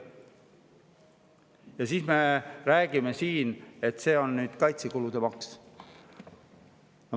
Ja siis räägitakse siin, et see on kaitsekulude maks.